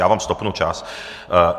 Já vám stopnu čas.